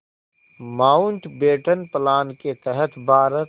Mountbatten plan के तहत भारत